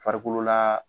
Farikolo la